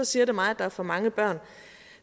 siger det mig at der er for mange børn